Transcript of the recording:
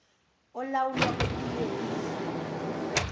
olawulwa kwelinye izwe